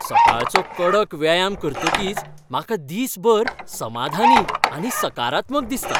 सकाळचो कडक व्यायाम करतकीच म्हाका दिसभर समाधानी आनी सकारात्मक दिसता.